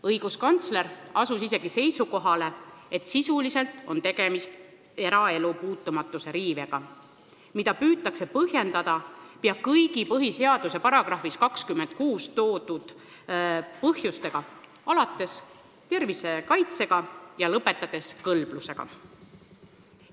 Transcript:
Õiguskantsler asus isegi seisukohale, et sisuliselt on tegemist eraelu puutumatuse riivega, mida püütakse põhjendada pea kõigi põhiseaduse §-s 26 toodud põhjustega, alates tervise kaitsest ja lõpetades kõlbluse kaitsega.